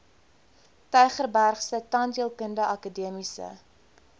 tygerbergse tandheelkundige akademiese